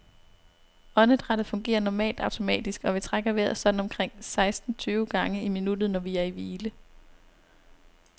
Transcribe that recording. Åndedrættet fungerer normalt automatisk, og vi trækker vejret sådan omkring seksten tyve gange i minuttet, når vi er i hvile.